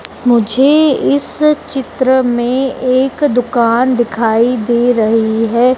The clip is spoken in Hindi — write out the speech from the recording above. मुझे इस चित्र में एक दुकान दिखाई दे रही है।